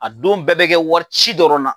A don bɛɛ bɛ kɛ warici dɔrɔn na.